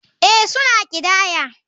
Ee, suna ƙidaya.